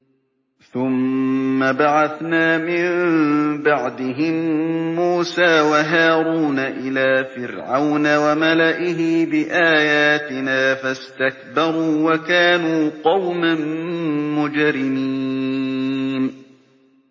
ثُمَّ بَعَثْنَا مِن بَعْدِهِم مُّوسَىٰ وَهَارُونَ إِلَىٰ فِرْعَوْنَ وَمَلَئِهِ بِآيَاتِنَا فَاسْتَكْبَرُوا وَكَانُوا قَوْمًا مُّجْرِمِينَ